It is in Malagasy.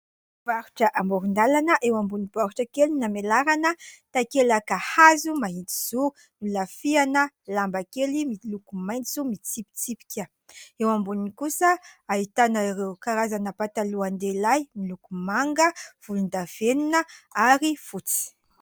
Mpivarotra amoron-dalana eo ambony baoritra kely amelarana takelaka hazo mahitsizoro nolafiana lamba kely miloko maintso mitsipitsipika eo amboniny kosa ahitana ireo karazana patalohan-dehilahy miloko manga volondavenina ary fotsy